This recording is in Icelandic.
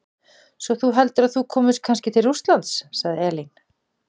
Svo þú heldur að þú komist kannski til Rússlands, sagði Elín.